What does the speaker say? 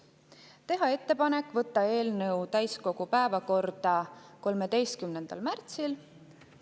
Teha ettepanek võtta eelnõu täiskogu päevakorda 13. märtsil.